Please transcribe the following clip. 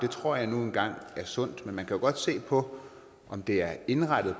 tror jeg nu engang er sundt men man kan jo godt se på om det er indrettet